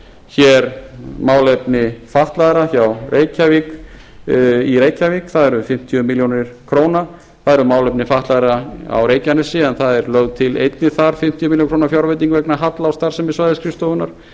hér málefni fatlaðra í reykjavík það er um fimmtíu milljónir króna það eru málefni fatlaðra á reykjanesi en það er lögð til þar einnig þar fimmtíu milljónir króna fjárveiting vegna halla á starfsemi svæðisskrifstofunnar